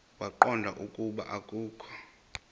waqonda ukuba akokho